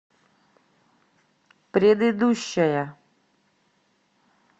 предыдущая